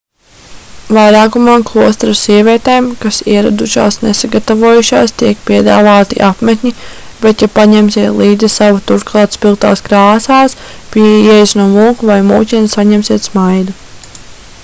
vairākumā klosteru sievietēm kas ieradušās nesagatavojušās tiek piedāvāti apmetņi bet ja paņemsiet līdzi savu turklāt spilgtās krāsās pie ieejas no mūka vai mūķenes saņemsiet smaidu